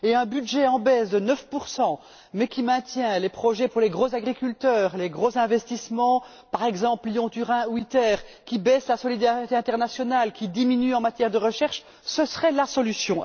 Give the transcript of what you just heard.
Et un budget en baisse de 9 mais qui maintient les projets pour les gros agriculteurs, les gros investissements par exemple Lyon Turin ou ITER qui baisse la solidarité internationale, qui diminue en matière de recherche, ce serait la solution.